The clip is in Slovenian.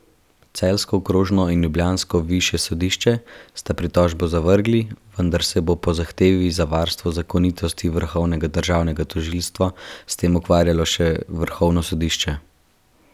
Celjsko okrožno in ljubljansko višje sodišče sta pritožbo zavrgli, vendar se bo po zahtevi za varstvo zakonitosti vrhovnega državnega tožilstva s tem ukvarjalo še vrhovno sodišče.